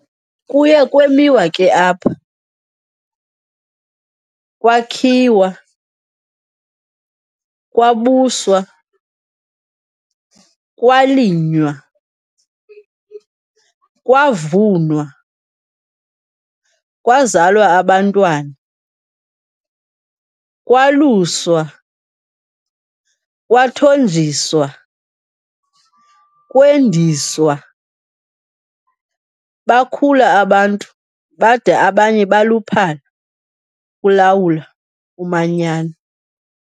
Kuye kwamiwa ke apha, kwakhiwa, kwabuswa, kwalinywa, kwavunwa, kwazalwa abantwana, kwaluswa, kwathonjiswa, kwendiswa, bakhula abantu bada abanye baluphala kulawula umanyano.